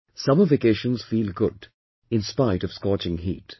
Summer vacations feel good inspite of scorching heat